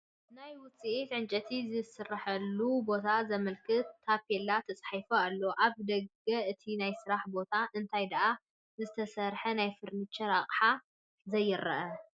ናይ ውፅኢት ዕንጨይቲ ዝስረሓሉ ቦታ ዘመላኽት ታፔላ ተፃሒፉ ኣሎ፡፡ ኣብ ደገ እቲ ናይ ስራሕ ቦታ እንታይ ዳኣ ዝተሰርሐ ናይ ፈርኒቸር ኣቕሓ ዘይረአ?